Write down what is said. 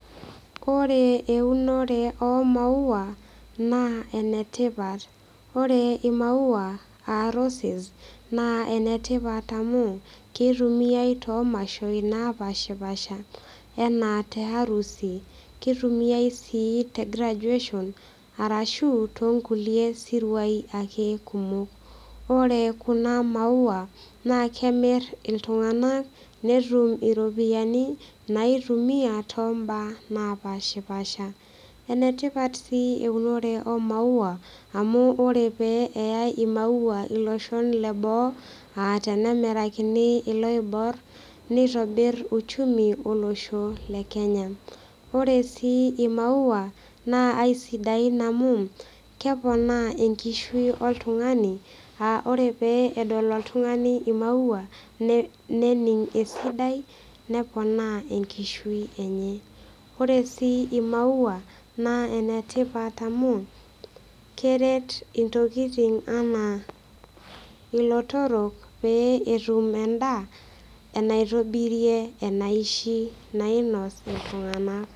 Ore eunore omaua naa enetipat ore imaua aa roses naa enetipat amu kitumiae tomashoi napashipasha anaa te harusi kitumiae sii te graduation arashu tonkulie siruai ake kumok ore kuna maua naa kemirr iltung'anak netum iropiyiani naitumia tombaa napashipasha enetipat sii eunore omaua amu ore pee eyai imaua iloshon leboo atenemirakini iloiborr nitobirr uchumi olosho le kenya ore sii imaua naa aisidain amu keponaa enkishui oltung'ani uh ore pee edol oltung'ani imaua ne nening esidai neponaa enkishui enye ore sii imaua naa enetipat amu keret intokiting anaa ilotorok pee etum endaa enaitobirie enaishi nainos iltung'anak.